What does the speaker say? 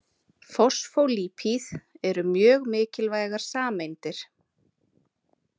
Fosfólípíð eru mjög mikilvægar sameindir.